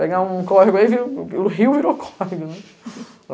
Pegar um córrego aí, o rio virou córrego, né?